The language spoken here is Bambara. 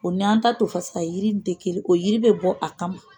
O n'an ta tofasa jiri tɛ kelen ye, o yiri bɛ bɔ a kama.